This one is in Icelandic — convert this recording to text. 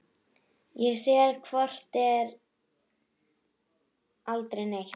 Ég sel hvort eð er aldrei neitt.